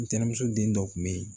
Ntɛnɛmuso den dɔ kun be yen